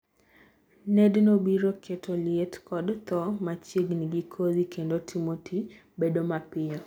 nedno biro keto liet kod thoo machiegni gi kodhi kendo timo tii bedo mapiyo